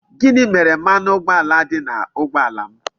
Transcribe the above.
Gini mere mmanụ ụgboala di n'ụgboala m?